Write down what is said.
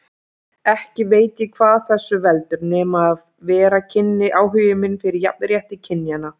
Ekki veit ég hvað þessu veldur, nema ef vera kynni áhugi minn fyrir jafnrétti kynjanna.